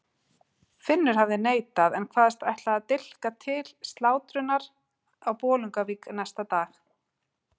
Finnur hafði neitað en kvaðst ætla með dilka til slátrunar á Bolungarvík næsta dag.